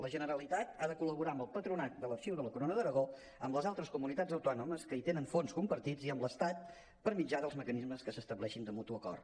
la generalitat ha de col·laborar amb el patronat de l’arxiu de la corona d’aragó amb les altres comunitats autònomes que hi tenen fons compartits i amb l’estat per mitjà dels mecanismes que s’estableixin de mutu acord